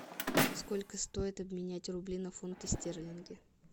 сколько стоит обменять рубли на фунты стерлинги